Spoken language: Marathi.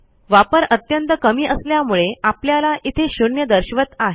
वापर अत्यंत कमी असल्यामुळे आपल्याला इथे शून्य दर्शवत आहे